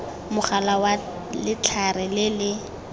mogala wa letlhare le le